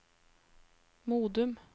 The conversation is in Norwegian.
Modum